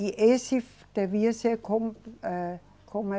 E esse devia ser como, eh, como é?